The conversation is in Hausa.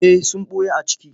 Eh sun ɓuya a ciki.